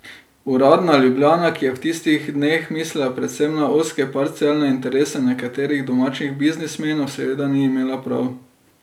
Uradna Ljubljana, ki je v tistih dneh mislila predvsem na ozke parcialne interese nekaterih domačih biznismenov, seveda ni imela prav.